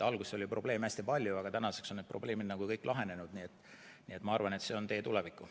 Alguses oli probleeme hästi palju, aga tänaseks on need probleemid kõik lahenenud, nii et ma arvan, et see on tee tulevikku.